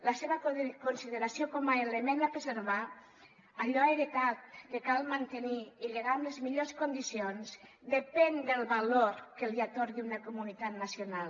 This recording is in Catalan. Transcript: la seva consideració com a element a preservar allò heretat que cal mantenir i lligar amb les millors condicions depèn del valor que li atorgui una comunitat nacional